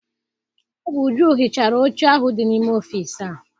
Ọ bụ Uju hichara oche ahụ dị n'ime ọfịịsi a.